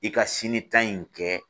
I ka sini tan in kɛ